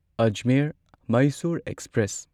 Ajmer Mysore express